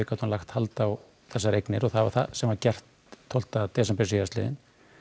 lagt hald á þessar eignir og það var það sem var gert tólf desember síðastliðnum